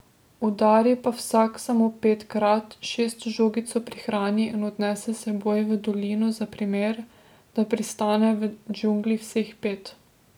Udari pa vsak samo petkrat, šesto žogico prihrani in odnese s seboj v dolino za primer, da pristane v džungli vseh pet.